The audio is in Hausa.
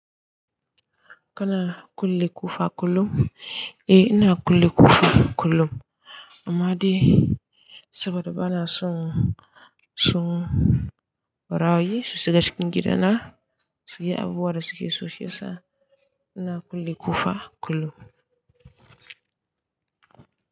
Kana kulle ƙofa kullum? Eh ina kulle ƙofa kullum, amma dai saboda bana son ɓarayi su shiga cikin gida na, su yi abubuwa da su ke so shi ya sa ina kulle ƙofa kullum.